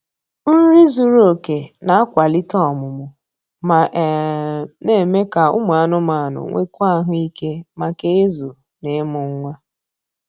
Nri zuru oke na-akwalite ọmụmụ, ma um na-eme ka ụmụ anụmanụ nwekwuo ahụike maka ịzụ na ịmụ nwa